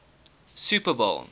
super bowl